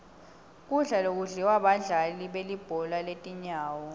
kudla lokudliwa badlali belibhola letinyawo